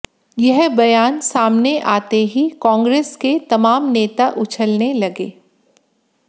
यह बयान सामने आते ही कांग्रेस के तमाम नेता उछलने लगे